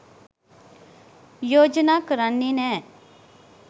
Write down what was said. යෝජනා කරන්නෙ නෑ.